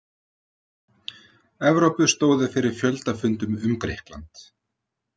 Evrópu stóðu fyrir fjöldafundum um Grikkland.